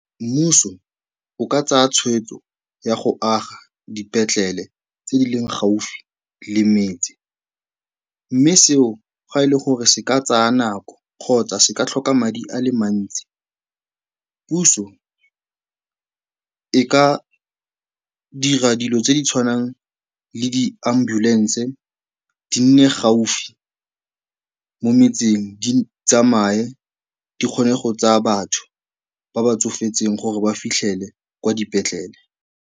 Mmuso o ka tsaya tshweetso ya go aga dipetlele tse di leng gaufi le metsi mme seo ga e le gore se ka tsaya nako kgotsa se ka tlhoka madi a le mantsi, puso e ka dira dilo tse di tshwanang le di-ambulance, di nne gaufi mo metseng, di tsamaye di kgone go tsaya batho ba ba tsofetseng gore ba fitlhele kwa dipetlele.